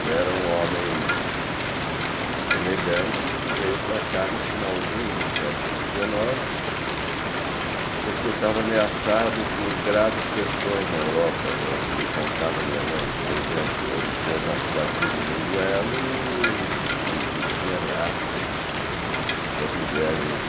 e era um homem elegante que veio para cá no finalzinho do século dezenove porque estava ameaçado por graves questões na Europa, é o que me contava minha mãe, por exemplo, ele tinha já se batido em um duelo e e tinha ameaças das mulheres